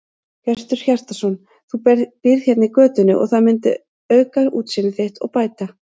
Hjörtur Hjartarson: Þú býrð hérna í götunni og það myndi auka útsýni þitt og bæta?